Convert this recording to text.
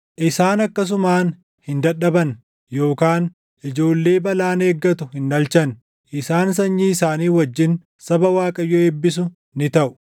Isaan akkasumaan hin dadhaban yookaan ijoollee balaan eeggattu hin dhalchan; isaan sanyii isaanii wajjin saba Waaqayyo eebbisu ni taʼu.